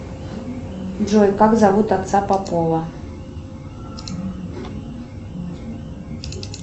джой как зовут отца попова